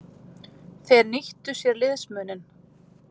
Þeir nýttu sér liðsmuninn.